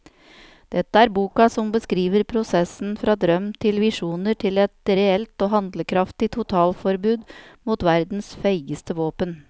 Dette er boka som beskriver prosessen fra drøm til visjoner til et reelt og handlekraftig totalforbud mot verdens feigeste våpen.